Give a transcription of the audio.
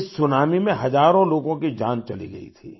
इस सुनामी में हजारों लोगों की जान चली गई थी